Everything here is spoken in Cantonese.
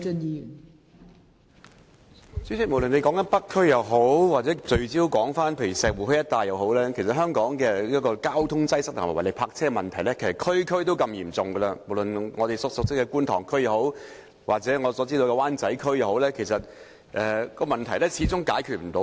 代理主席，無論是北區或集中石湖墟一帶，其實香港各區的交通擠塞和違例泊車問題都十分嚴重，不論是我們熟悉的觀塘區或灣仔區，問題一直未能解決。